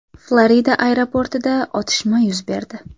Florida aeroportida otishma yuz berdi.